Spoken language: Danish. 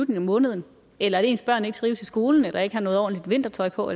måneden eller at ens børn ikke trives i skolen eller ikke har noget ordentligt vintertøj på